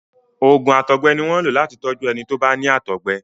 oògùn àtọgbẹ ní wón lo láti tọju ẹni tọ bá ní àtọgbẹ